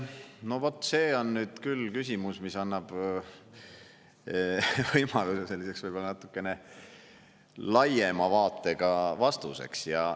No vot, see on nüüd küll küsimus, mis annab võimaluse selliseks võib-olla natuke laiema vaatega vastuseks.